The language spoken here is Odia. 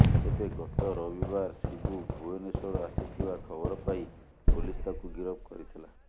ତେବେ ଗତ ରବିବାର ଶିବୁ ଭୁବନେଶ୍ବର ଆସିଥିବା ଖବର ପାଇ ପୁଲିସ ତାକୁ ଗିରଫ କରିଥିଲା